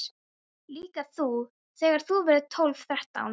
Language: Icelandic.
Líka þú þegar þú verður tólf, þrettán.